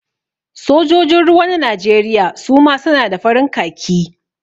Sojojin ruwa na Najeriya suma su na da farin khaki